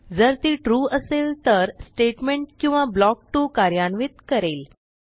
जर ती ट्रू असेल तर स्टेटमेंट किंवा ब्लॉक 2 कार्यान्वित करेल